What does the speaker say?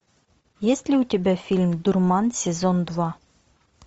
есть ли у тебя фильм дурман сезон два